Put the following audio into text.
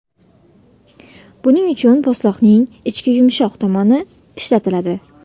Buning uchun po‘stloqning ichki yumshoq tomoni ishlatiladi.